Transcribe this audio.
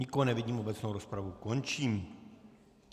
Nikoho nevidím, obecnou rozpravu končím.